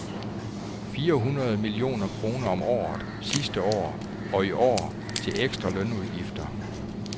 Fire hundrede millioner kroner om året sidste år og i år til ekstra lønudgifter.